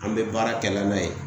An be baara kɛ la n'a ye.